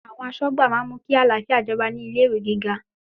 Àwọn aṣọ́gbà máa mú kí àlàáfíà jọba ní ilé ìwé gíga.